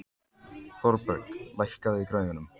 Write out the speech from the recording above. Thorberg, lækkaðu í græjunum.